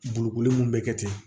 Bolokoli mun be kɛ ten